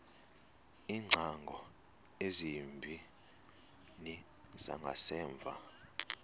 iingcango ezimbini zangasemva